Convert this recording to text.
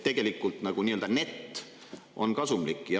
Tegelikult on net kasumlik.